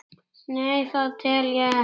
Nei, það tel ég ekki.